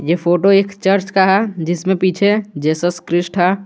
ये फोटो एक चर्च का जिसमें पीछे जीसस क्राइस्ट है।